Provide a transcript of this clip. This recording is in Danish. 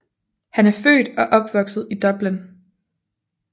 Han er født og opvokset i Dublin